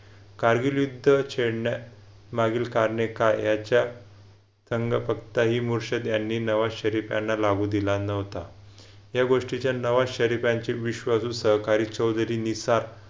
कारगिल युद्ध छेडण्या मागील कारणे काय याच्या संघ फक्त इ मुर्शद त्यांनी नवा शरीफ त्यांना लागू दिला नव्हता. या गोष्टी च्या नवा शरीफ यांचे विश्वासू सहकारी चौधरी निसार